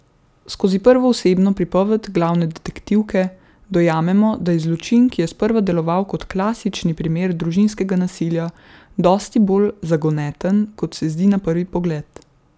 Skozi prvoosebno pripoved glavne detektivke dojamemo, da je zločin, ki je sprva deloval kot klasični primer družinskega nasilja, dosti bolj zagoneten, kot se zdi na prvi pogled.